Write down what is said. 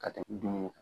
Ka tɛmɛ dumuni kan